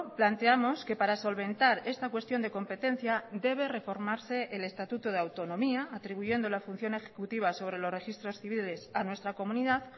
planteamos que para solventar esta cuestión de competencia debe reformarse el estatuto de autonomía atribuyendo la función ejecutiva sobre los registros civiles a nuestra comunidad